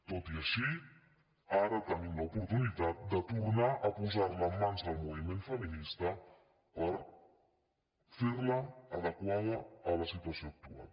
tot i així ara te·nim l’oportunitat de tornar a posar·la en mans del movi·ment feminista per fer·la adequada a la situació actual